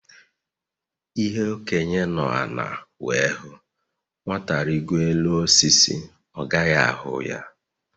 Ihe Okenye nọ ala wee hụ, Nwata rigoo elu osisi, ọ gaghị ahụ ya